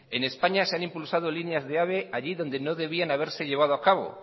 en españa se han impulsado líneas de ave allí donde no debían haberse llevado a cabo